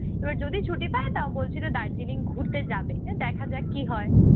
এইবার যদি ছুটি পায় তাও বলছিল দার্জিলিং ঘুরতে যাবে। এ দেখা যাক কি হয়।